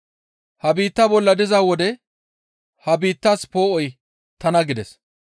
Ha biittaa bolla diza wode ha biittaas poo7oy tana» gides.